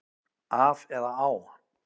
Af eða á?